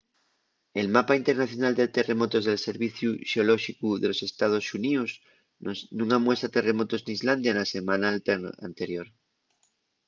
el mapa internacional de terremotos del serviciu xeolóxicu de los estaos xuníos nun amuesa terremotos n’islandia na selmana anterior